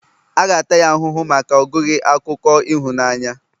a ga-ata ya ahụhụ maka ogụghi akụkọ ịhụnanya